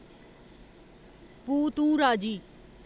बू तूं राजी